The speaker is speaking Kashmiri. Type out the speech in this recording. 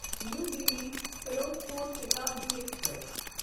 نیو دِلی فیروزپور شتابڈی ایکسپریس